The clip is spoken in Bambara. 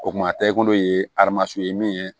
O kuma tɛ e bolo ye ye min ye